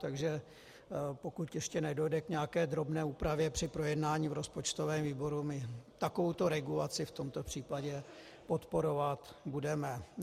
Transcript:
Takže pokud ještě nedojde k nějaké drobné úpravě při projednání v rozpočtovém výboru, my takovouto regulaci v tomto případě podporovat budeme.